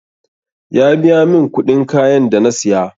Ya biya min kuɗin kayan da na siya